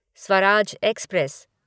Swaraj express